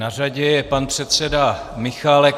Na řadě je pan předseda Michálek.